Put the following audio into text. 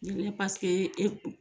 Ne e